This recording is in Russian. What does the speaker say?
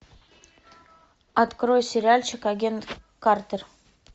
открой сериальчик агент картер